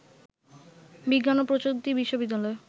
বিজ্ঞান ও প্রযুক্তি বিশ্ববিদ্যালয়